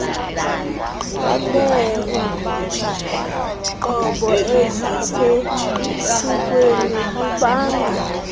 beenqobo ezisesikweni bubanga